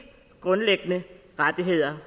grundlæggende rettigheder